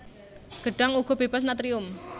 Gedhang uga bébas natrium